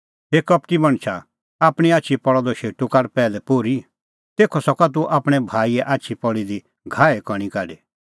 हे कपटी मणछा आपणीं आछी पल़अ द शेटू काढ पैहलै पोर्ही तेखअ सका तूह आपणैं भाईए आछी दी पल़ी दी घाहे कणीं काढी